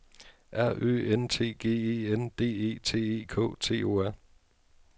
R Ø N T G E N D E T E K T O R